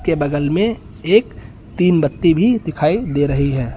के बगल में एक तीन बत्ती भी दिखाई दे रही है।